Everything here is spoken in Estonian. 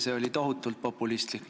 See oli tohutult populistlik.